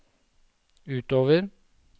utover